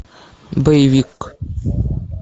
боевик